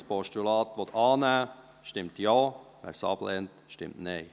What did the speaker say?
Wer dieses Postulat annehmen will, stimmt Ja, wer es ablehnt, stimmt Nein.